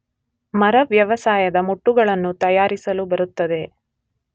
ಮರ ವ್ಯವಸಾಯದ ಮುಟ್ಟುಗಳನ್ನು ತಯಾರಿಸಲು ಬರುತ್ತದೆ.